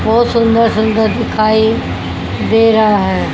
बहोत सुंदर सुंदर दिखाइ दे रहा है।